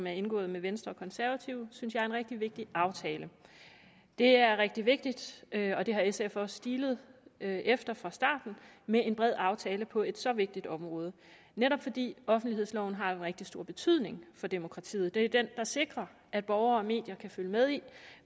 er indgået med venstre og konservative synes jeg er en rigtig vigtig aftale det er rigtig vigtigt og det har sf også stilet efter fra start med en bred aftale på et så vigtigt område det netop fordi offentlighedsloven har en rigtig stor betydning for demokratiet det er den der sikrer at borgere og medier kan følge med i